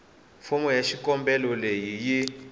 fomo ya xikombelo leyi yi